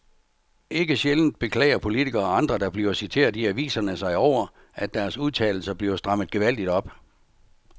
Ikke sjældent beklager politikere og andre, der bliver citeret i aviserne sig over, at deres udtalelser bliver strammet gevaldigt op.